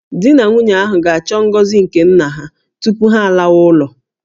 Di na nwunye ahụ ga-achọ ngọzi nke nna ha tupu ha alawa ụlọ